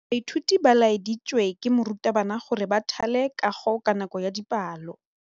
Baithuti ba laeditswe ke morutabana gore ba thale kagô ka nako ya dipalô.